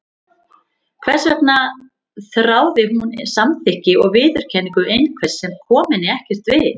Hvers vegna þráði hún samþykki og viðurkenningu einhvers sem kom henni ekkert við?